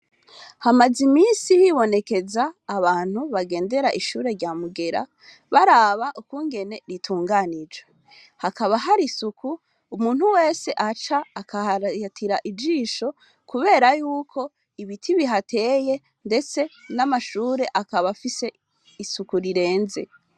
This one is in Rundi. Hamaze iminsi hibonekeza abantu bagendera ishure rya mugera baraba ukungene ritunganije, hakaba hari isuku umuntu wese ahaca akaharatira ijisho, kubera yuko ibiti bihateye ndetse n'amashure akaba afise isuku rirenze.